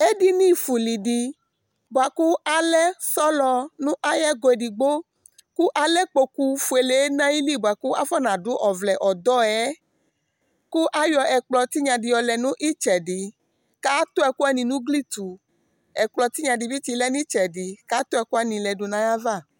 ɛdini fue uli di boa kò alɛ sɔlɔ n'ayi ɛgɔ edigbo kò alɛ ikpoku fuele n'ayili boa kò afɔna du ɔvlɛ ɔdɔ yɛ kò ayɔ ɛkplɔ tinya di yɔ lɛ no itsɛdi k'ato ɛkò wani n'ugli to ɛkplɔ tinya di bi tsi lɛ n'itsɛdi k'ato ɛkòwani lɛ do n'ayi ava